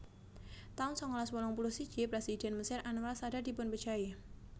taun sangalas wolung puluh siji Présidhèn Mesir Anwar Sadat dipunpejahi